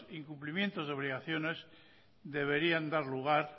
incumplimientos y obligaciones deberían dar lugar